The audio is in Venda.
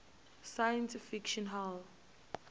science fiction hall